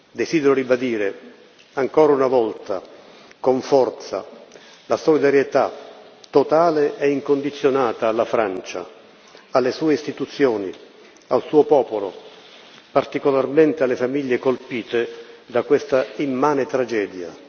Desidero ribadire ancora una volta, con forza, la solidarietà totale e incondizionata alla Francia, alle sue istituzioni, al suo popolo, particolarmente alle famiglie colpite da questa immane tragedia.